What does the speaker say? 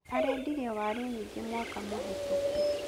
Arendirie waaru nyingĩ mwaka mũhetũku